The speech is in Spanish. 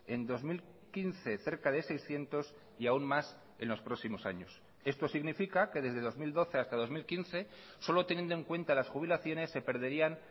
en dos mil quince cerca de seiscientos y aún más en los próximos años esto significa que desde dos mil doce hasta dos mil quince solo teniendo en cuenta las jubilaciones se perderían